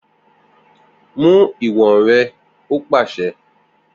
Mu iwọn rẹ o paṣẹ!